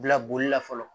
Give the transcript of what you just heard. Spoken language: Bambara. Bila bolila fɔlɔ